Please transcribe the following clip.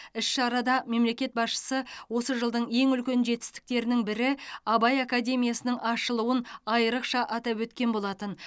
іс шарада мемлекет басшысы осы жылдың ең үлкен жетістіктерінің бірі абай академиясының ашылуын айрықша атап өткен болатын